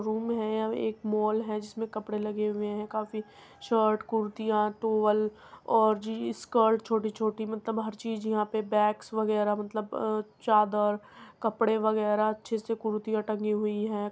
Room है एक mall है जिसमें कपड़े लगे हुए है काफी शर्ट कुर्तियां टॉवल और जी स्कर्ट छोटी-छोटी मतलब हर चीज यहाँ पे बैग्स वगैरा मतलब चादर कपड़े वगैरा अच्छी-अच्छी कुर्तियाँ टंगी हुई हैं।